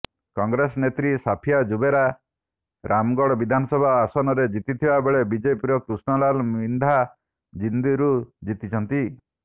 କଂଗ୍ରେସ ନେତ୍ରୀ ସାଫିଆ ଜୁବେର ରାମଗଡ଼ ବିଧାନସଭା ଆସନରେ ଜିତିଥିବାବେଳେ ବିଜେପିର କ୍ରିଷ୍ଣ ଲାଲ ମିନ୍ଧା ଜିନ୍ଦରୁ ଜିତିଛନ୍ତି